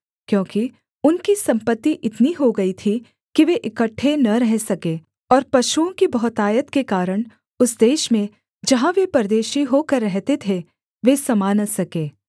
क्योंकि उनकी सम्पत्ति इतनी हो गई थी कि वे इकट्ठे न रह सके और पशुओं की बहुतायत के कारण उस देश में जहाँ वे परदेशी होकर रहते थे वे समा न सके